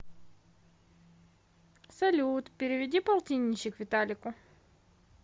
салют переведи полтинничек виталику